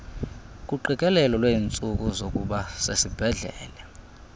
kuqikelelo lweentsuku zokubasesibhedlele